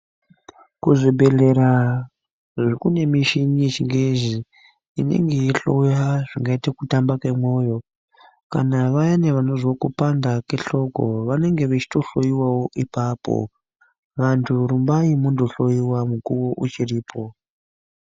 Kuzvibhedhlera kune mishini yechingezi inenge yeihloya kuti vayani vekupanda kwehloko vanenge veitohloiwawo ipapo vantu rumbai mundohloiwa nguwa iripo.